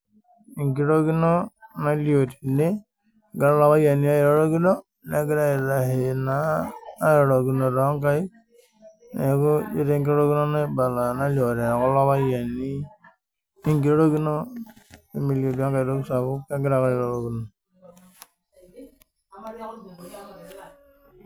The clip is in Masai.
Enkrokino egira kulo payiani airorokino negiraa aitasheki naa airorokino too nkaik neeku ejio enkirorokino naibala tekulo payiani enkirorokino metii aitoki sapuk kegira ake airorokino